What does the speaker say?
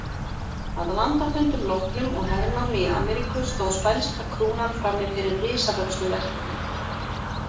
Að landafundum loknum og hernámi í Ameríku stóð spænska krúnan frammi fyrir risavöxnu verkefni.